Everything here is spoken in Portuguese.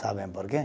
Sabem por quê?